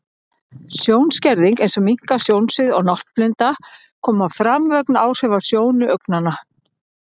Sjónskerðing, eins og minnkað sjónsvið og náttblinda, koma fram vegna áhrifa á sjónu augnanna.